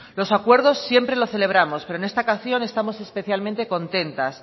los acuerdos siempre lo celebramos pero en esta ocasión estamos especialmente contentas